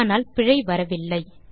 ஆனால் பிழை வரவில்லை